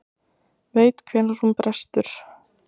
Veit hvenær hún brestur.